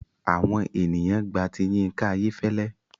Àwọn ènìyàn gba ti Yinka Ayefele.